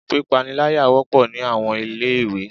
Pípániláyà wọ́pọ̀ ní àwọn ilé ìwé.